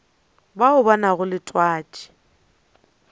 bao ba nago le twatši